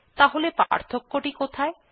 তাহলে পার্থক্য টি কোথায়160